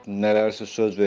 Nələrisə söz veriblər.